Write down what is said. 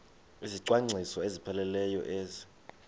izicwangciso ezipheleleyo ezi